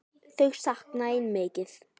Þau sakna þín mikið.